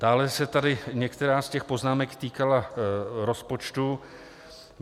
Dále se tady některá z těch poznámek týkala rozpočtu.